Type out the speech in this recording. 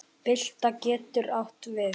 Bylta getur átt við